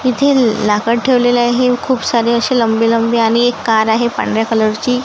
इथे लाकड ठेवलेलं आहे खूप सारे अशे लंबे लंबे आणि एक कार आहे पांढऱ्या कलर ची.